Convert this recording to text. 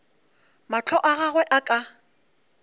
mahlo a gagwe a ka